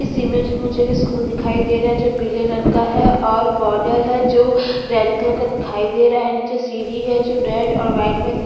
इस इमेज में मुझे भी स्कूल दिखाई दे रहा है जो पीले रंग का है और बॉर्डर है जो रेड कलर का दिखाई दे रहा है नीचे सीढी है जो रेड और व्हाइट में दिख--